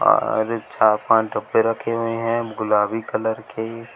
बाहर चार पांच डब्बे रखे हैं गुलाबी कलर के।